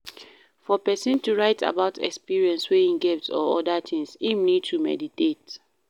For person to write about experience wey im get or oda things, im need to meditate